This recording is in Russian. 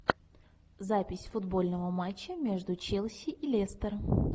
запись футбольного матча между челси и лестером